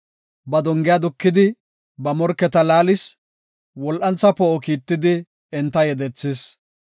Ba dongiya dukidi ba morketa laallis; wol7antha poo7o kiittidi enta yedethis.